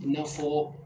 I n'a fɔ